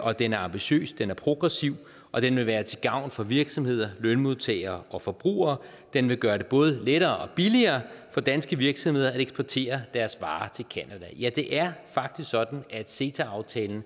og den er ambitiøs den er progressiv og den vil være til gavn for virksomheder lønmodtagere og forbrugere den vil gøre det både lettere og billigere for danske virksomheder at eksportere deres varer til canada ja det er faktisk sådan at ceta aftalen